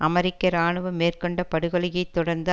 அமெரிக்க இராணுவம் மேற்கொண்ட படு கொலையை தொடர்ந்து